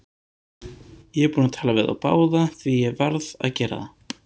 Ég er búinn að tala við þá báða, því ég varð að gera það.